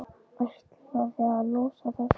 Ætlaði að losa það, sko.